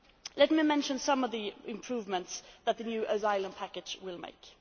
Let me mention some of the improvements that the new asylum package will make.